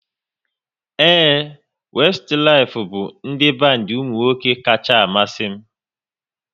Ee, Westilif bụ ndị bandi ụmụnwoke kacha amasị m